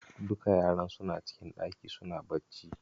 Duka yaran suna cikin ɗaki suna bacci.